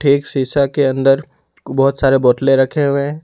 एक शीशा के अंदर बहोत सारे बोतले रखे हुए है।